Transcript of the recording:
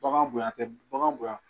Bagan boyan a tɛ bagan boyan.